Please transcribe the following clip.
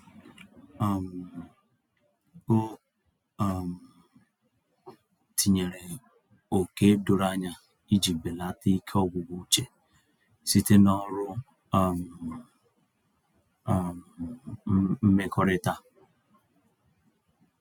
um O um tinyere ókè doro anya iji belata ike ọgwụgwụ uche site na ọrụ um um mmekọrịta.